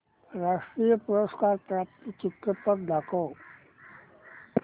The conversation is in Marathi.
राष्ट्रीय पुरस्कार प्राप्त चित्रपट दाखव